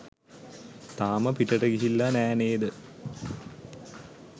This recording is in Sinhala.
තාම පිටට ගිහිල්ලා නෑ නේද?